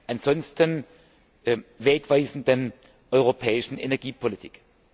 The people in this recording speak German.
ansonsten wegweisenden europäischen Energiepolitik.